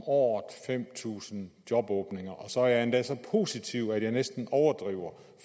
år fem tusind jobåbninger så er jeg endda så positiv at jeg næsten overdriver